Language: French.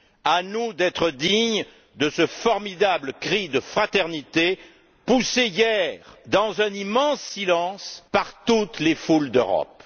À nous d'être dignes de ce formidable cri de fraternité poussé hier dans un immense silence par toutes les foules d'Europe.